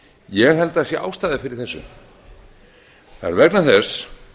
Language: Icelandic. ég held að það sé ástæða fyrir þessu það er vegna þess